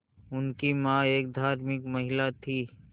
उनकी मां एक धार्मिक महिला थीं